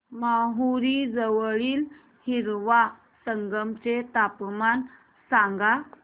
माहूर जवळील हिवरा संगम चे तापमान सांगा